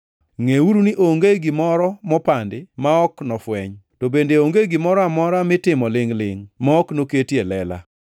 Ngʼeuru ni onge gimoro mopandi ma ok nofweny, to bende onge gimoro amora mitimo lingʼ-lingʼ ma ok noket e lela.